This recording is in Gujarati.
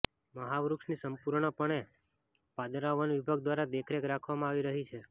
મહાવૃક્ષની સંપૂર્ણ પણે પાદરા વન વિભાગ દ્વારા દેખરેખ રાખવામાં આવી રહી છે